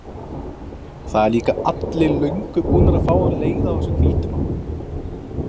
Það eru líka allir löngu búnir að fá leið á þessum hvítu, mamma.